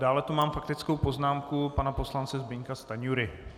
Dále tu mám faktickou poznámku pana poslance Zbyňka Stanjury.